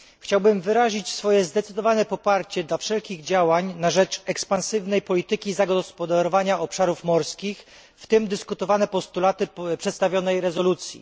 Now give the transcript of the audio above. Chciałbym wyrazić swoje zdecydowane poparcie dla wszelkich działań na rzecz ekspansywnej polityki zagospodarowania obszarów morskich, w tym dyskutowanych postulatów przedstawionej rezolucji.